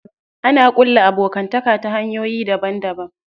Ana ƙulla abokanta ta hanyoyi daban daban.